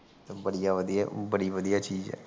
ਬੜੀ ਵਧੀਆ ਬੜੀ ਵਧੀਆ ਚੀਜ ਹੈ